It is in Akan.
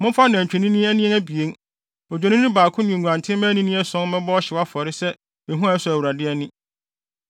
Momfa nantwimma anini abien, odwennini baako ne nguantenmma anini ason mmɛbɔ ɔhyew afɔre sɛ ehua a ɛsɔ Awurade ani.